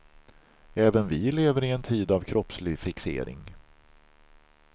Även vi lever i en tid av kroppslig fixering.